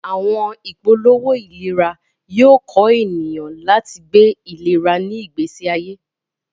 Awọn ipolowo ilera yoo kọ eniyan lati gbe ilera ni igbesi aye.